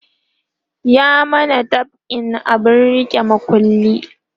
ya mana dab'in abun rike makullai